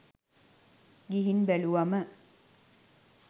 ගිහින් බැලුවම